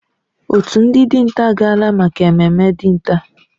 Òtù ndị dinta agaala maka ememme dinta.